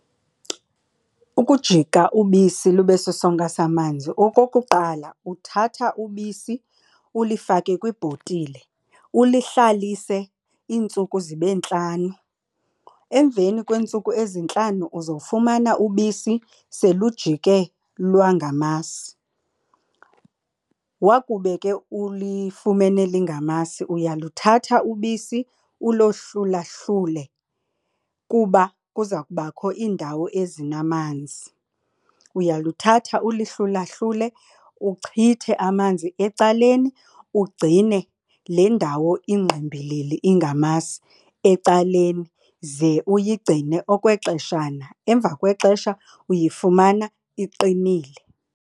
Ukujika ubisi lube sisonka samanzi. Okokuqala, uthatha ubisi ulifake kwibhotile ulihlalise iintsuku zibe ntlanu. Emveni kweentsuku ezintlanu uzofumana ubisi selujike lwangamasi. Wakube ke ulifumene lingamasi uyaluthatha ubisi ulohlulahlule kuba kuza kubakho iindawo ezinamanzi. Uyalithatha ulihlulahlule uchithe amanzi ecaleni ugcine le ndawo ingqimbilili ingamasi ecaleni ze uyigcine okwexeshana. Emva kwexesha uyifumana iqinile.